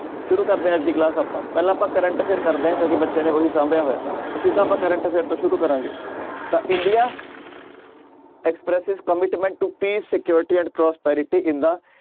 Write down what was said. ਸ਼ੁਰੂ ਕਰਦੇ ਹਾਂ ਅੱਜ ਦੀ class ਆਪਾਂ ਪਹਿਲਾਂ ਆਪਾਂ current affair ਕਰਦੇ ਹਾਂ ਕਿਉਂਕਿ ਬੱਚਿਆਂ ਨੇ ਉਹੀ ਸਾਂਭਿਆ ਹੋਇਆ ਤਾਂ ਸਿੱਧਾ ਆਪਾਂ current affair ਤੋਂ ਸ਼ੁਰੂ ਕਰਾਂਗੇ ਤਾਂ India commitment to security and prosperity in the